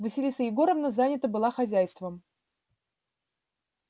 василиса егоровна занята была хозяйством